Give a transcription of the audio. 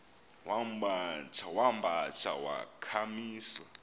wamba tsha wakhamisa